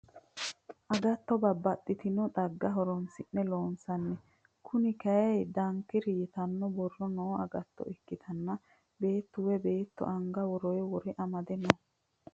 Agatto babbaxitino xagga horonsi'ne loonsanni. Konne kayii dankiira yitanno borro noo agatto ikkitanna beettu woyi beetto anga woroo wore amade no.